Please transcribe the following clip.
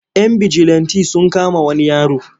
Yan bijilanti sun kama wani yaro.